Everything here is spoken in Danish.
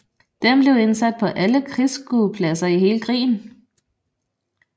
Den blev indsat på alle krigsskuepladser i hele krigen